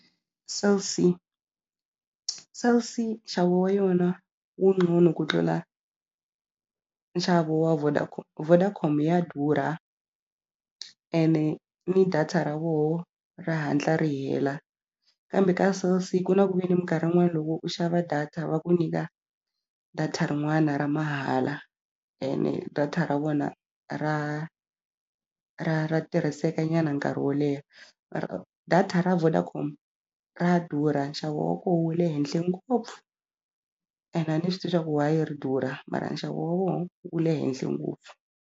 Cell C Cell C nxavo wa yona wu ngcono ku tlula nxavo wa Vodacom Vodacom ya durha ene ni data ra voho ri hatla ri hela kambe ka Cell C ku na ku ve ni minkarhi yin'wani loko u xava data va ku nyika data rin'wana ra mahala ene data ra vona ra ra ra tirhiseka nyana nkarhi wo leha data ra Vodacom ra durha nxavo wa ko wu le henhle ngopfu ene a ni swi tivi swa ku why ri durha mara nxavo wa voho wu le henhle ngopfu.